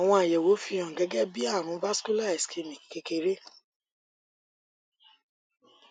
àwọn àyẹwò fi hàn gẹgẹ bí àrùn vascular ischemic kékeré